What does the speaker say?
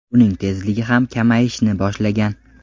Uning tezligi ham kamayishni boshlagan.